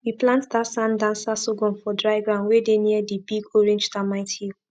we plant dat sand dancer sorghum for dry ground wey dey near di big orange termite hill